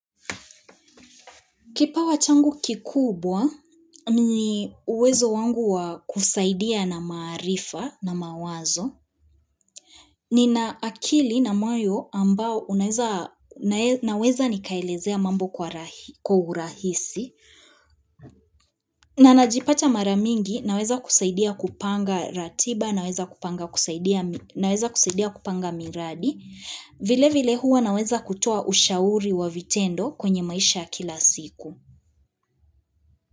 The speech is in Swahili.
Kipawa changu kikubwa, ni uwezo wangu wa kusaidia na maarifa na mawazo. Nina akili na moyo ambao naweza nikaelezea mambo kwa urahisi. Na najipata maramingi, naweza kusaidia kupanga ratiba, naweza kusaidia kupanga miradi. Vile vile huwa naweza kutoa ushauri wa vitendo kwenye maisha ya kila siku.